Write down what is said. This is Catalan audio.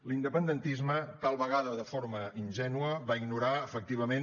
l’independentisme tal vegada de forma ingènua va ignorar efectivament